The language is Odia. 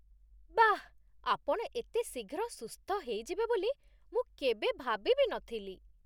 ବାଃ! ଆପଣ ଏତେ ଶୀଘ୍ର ସୁସ୍ଥ ହେଇଯିବେ ବୋଲି ମୁଁ କେବେ ଭାବି ବି ନଥିଲି ।